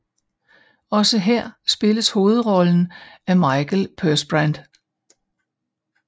Også her spilles hovedrollen af Mikael Persbrandt